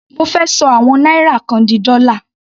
Mo fẹ́ ṣọ àwọn náírà kan di dọ́là.